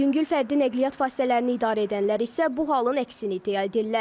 Yüngül fərdi nəqliyyat vasitələrini idarə edənlər isə bu halın əksini iddia edirlər.